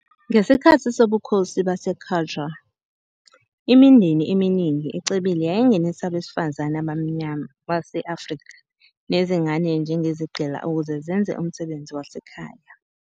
Ngesikhathi sobukhosi baseQajar, imindeni eminingi ecebile yayingenisa abesifazane abamnyama base-Afrika nezingane njengezigqila ukuze zenze umsebenzi wasekhaya.